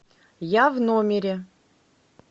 я в номере